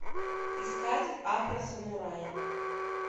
искать афросамурай